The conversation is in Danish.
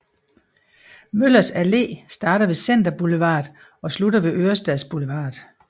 Møllers Allé starter ved Center Boulevard og slutter ved Ørestads Boulevard